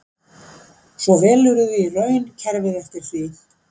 Svo velurðu í raun kerfið eftir því.